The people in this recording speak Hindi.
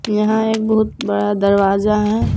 यहां एक बहुत बड़ा दरवाजा है।